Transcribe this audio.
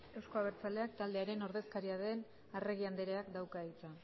euzko abertzaleak taldearen ordezkaria den arregi andreak dauka hitza